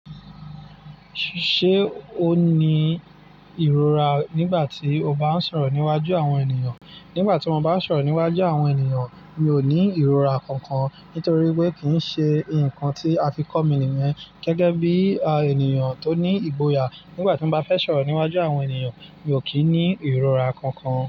Ṣé o ní ìrora nígbà tí o bá ń sọ̀rọ̀ níwájú àwọn ènìyàn? Nígbà tí mo bá ń sọ̀rọ̀ níwájú àwọn ènìyàn mi ò ní ìrora kankan, nítorí wípé kì í ṣe ǹnkan tí a fi kọ́ mi nìyẹn. Gẹ́gẹ́ bí i ènìyàn tó ní ìgboyà, nígbà tí n bá fẹ́ sọ̀rọ̀ níwájú àwọn ènìyàn mi ò kí ní ìrora kankan.